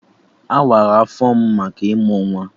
Awara afọ m maka ịmụ nwa